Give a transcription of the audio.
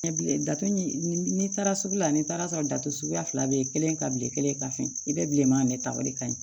Ɲɛ bilen datugu n'i taara sugu la n'i taara sɔrɔ dato suguya fila bɛ yen kelen ka bilen kelen ka fɛn i bɛ bilenman de ta o de ka ɲi